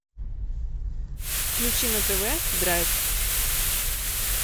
включи на тв драйв